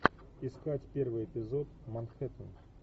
искать первый эпизод манхеттен